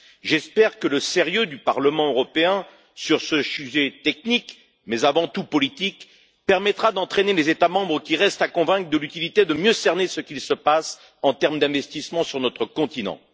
J'espère que le sérieux du Parlement européen sur ce sujet technique, mais avant tout politique, permettra d'entraîner les États membres qui restent à convaincre de l'utilité de mieux cerner ce qui se passe sur le plan des investissements sur notre continent.